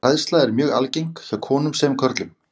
Hræðsla er mjög algeng hjá konum sem körlum.